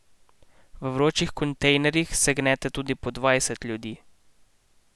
V vročih kontejnerjih se gnete tudi po dvajset ljudi.